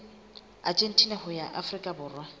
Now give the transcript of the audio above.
argentina ho ya afrika borwa